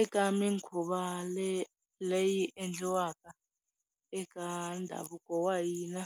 Eka minkhuvo leyi yi endliwaka eka ndhavuko wa hina,